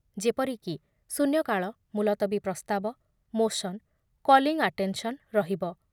ଯେପରିକି ଶୂନ୍ୟକାଳ, ମୁଲତବୀ ପ୍ରସ୍ତାବ, ମୋସନ, କଲିଂ ଆଟେନସନ୍ ରହିବ ।